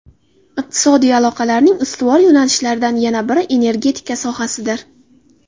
Iqtisodiy aloqalarning ustuvor yo‘nalishlaridan yana biri energetika sohasidir.